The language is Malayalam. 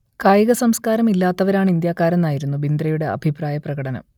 കായികസംസ്കാരം ഇല്ലാത്തവരാണ് ഇന്ത്യക്കാരെന്ന് ആയിരുന്നു ബിന്ദ്രയുടെ അഭിപ്രായ പ്രകടനം